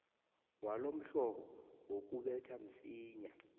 walomhlobo wokubetha msinya